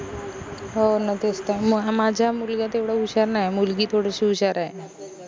हो न तेच त माझ्या मुलगा तेवढा हुशार नाई ए मुलगी थोडीशी हुशार आय